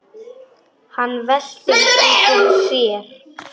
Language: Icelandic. Hann veltir því fyrir sér.